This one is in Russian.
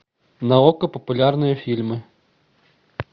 на окко популярные фильмы